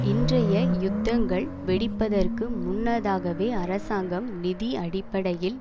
இன்றைய யுத்தங்கள் வெடிப்பதற்கு முன்னதாகவே அரசாங்கம் நிதி அடிப்படையில்